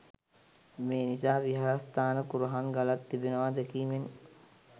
මේ නිසා විහාරස්ථාන කුරහන් ගලක් තිබෙනවා දැකීමෙන්